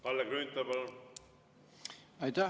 Kalle Grünthal, palun!